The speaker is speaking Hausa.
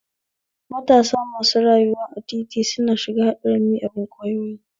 Matasa masu rayuwa a titi suna shiga haɗarin miyagun kwayoyi